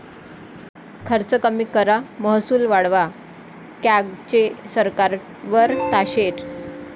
खर्च कमी करा, महसूल वाढवा, कॅगचे सरकारवर ताशेरे